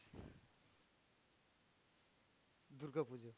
Durga Puja